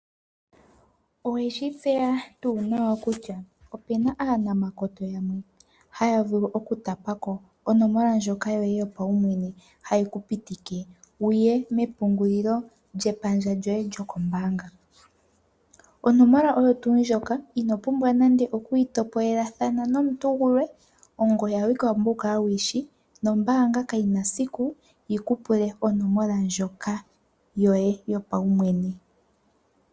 Owe shi tseya tuu nawa kutya ope na aanamakoto yamwe haya vulu okutapako onomola ndjoka yoye yopaumwene hayi ku pitike wu ye mepungulilo lyepandja lyoye lyokombaanga? Onomola oyo tuu ndjoka ino pumbwa nande okuyi itopolelathana nomuntu gulwe ongoye awike wa pumbwa wu kale wu yi shi nombaanga kayi na esiku yi ku pule onomola ndjoka yoye yopaumwene.